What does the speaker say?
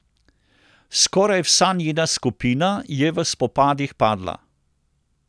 Skoraj vsa njena skupina je v spopadih padla.